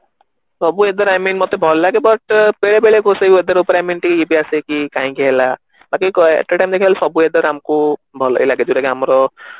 ସବୁ weather I mean ମତେ ଭଲ ଲାଗେ but ବେଳେ ବେଳେ କଉ ସେଇ weather ଉପରେ I mean ଟିକେ ଇଏ ବି ଆସେ କାହିଁକି ହେଲା at a time ଦେଖିଲ ବେଳକୁ weather ଆମକୁ ଭଲ ହି ଲାଗେ ଜଉଟା କି ଆମର